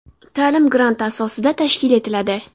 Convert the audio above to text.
Ta’lim grant asosida tashkil etiladi.